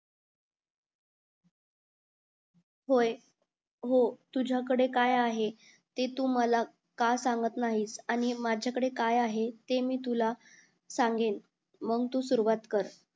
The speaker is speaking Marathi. होय हो तुझ्याकढे काय आहे ते तू मला का सांगत नाहीस आणि माझ्याकढे काय आहे ते मी तुला सांगेल मंग तू सुरवात कर